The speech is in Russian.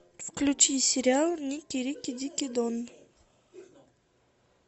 включи сериал никки рикки дикки дон